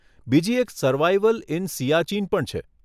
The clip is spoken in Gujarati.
બીજી એક સર્વાઈવલ ઇન સીઆચીન પણ છે.